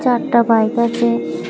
Tata bike আছে।